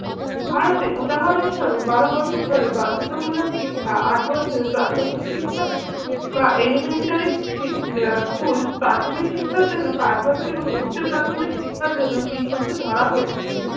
ভারতে উদাহরণ স্বরূপ বারো বছর ধরে বাধ্যতামূলক শিক্ষা আট বছরে প্রাথমিক শিক্ষা বা elementary শি আহ school প্রাথমিক শিক্ষার জন্য পাঁচ বছর এবং উচ্চপ্রাথমিক শিক্ষার জন্য তিন বছর ধরা হয়েছে।